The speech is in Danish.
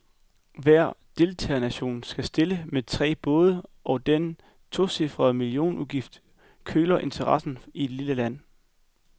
Hver deltagernation skal stille med tre både, så den tocifrede millionudgift køler interessen i et lille land.